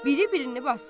Biri birini basır.